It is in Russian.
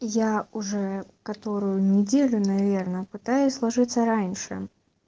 я уже которую неделю наверное пытаюсь ложиться раньше